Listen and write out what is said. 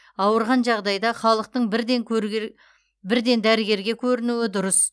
ауырған жағдайда халықтың бірден дәрігерге көрінуі дұрыс